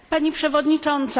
Pani przewodnicząca!